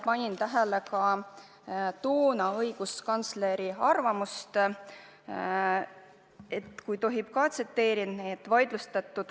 Ma lugesin ka toonase õiguskantsleri arvamust – kui tohib, ma seda ka tsiteerin.